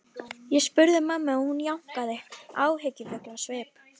Ég spurði mömmu og hún jánkaði, áhyggjufull á svip.